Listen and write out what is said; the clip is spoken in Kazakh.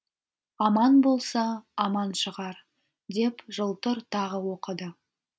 аман болса аман шығар деп жылтыр тағы оқыды